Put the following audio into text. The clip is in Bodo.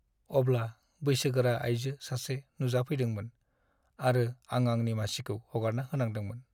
अब्ला बैसोगोरा आयजो सासे नुजाफैदोंमोन, आरो आं आंनि मासिखौ हगारना होनांदोंमोन।